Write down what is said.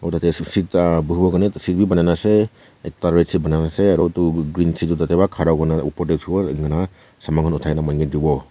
Kona dae ase seedha buhiwo Karnae tuh seat bhi banaina nae ase ekta red seat banaina ase aro utu green seat tuh tatey pra khara kurina opor dae uthivo aro enika saman khan uthaikena manu kae devo.